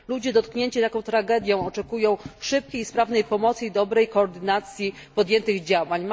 Ludzie dotknięci taką tragedią oczekują szybkiej i sprawnej pomocy, a także dobrej koordynacji podjętych działań.